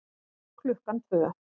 Klukkan tvö